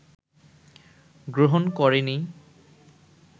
গ্রহণ করেনি